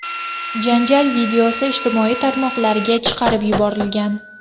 Janjal videosi ijtimoiy tarmoqlarga chiqarib yuborilgan.